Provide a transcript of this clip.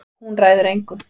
Hún ræður engu.